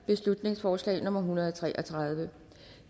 beslutningsforslag nummer hundrede og tre og tredive